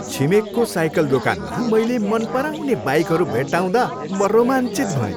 छिमेकको cycle दोकानमा मैले मन पराउने बाइकहरू भेट्टाउँदा म रोमाञ्चित भएँ।